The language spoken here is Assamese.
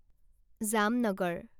জামনগৰ